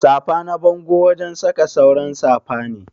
Safa na bango wajen saka sauran safa ne.